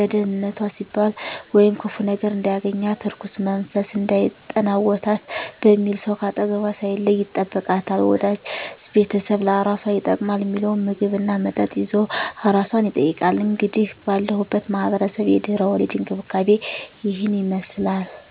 ለደንነቷ ሲባል ወይም ክፉ ነገር እንዳያገኛት(እርኩስ መንፈስ እንዳይጠናወታት) በሚል ሰው ከአጠገቧ ሳይለይ ይጠብቃታል፣ ወዳጅ ቤተሰብ ለአራሷ ይጠቅማል ሚለውን ምግብ እና መጠጥ ይዞ አራሷን ይጠይቃል። እንግዲህ ባለሁበት ማህበረሰብ የድህረ ወሊድ እንክብካቤ እሂን ይመስላል።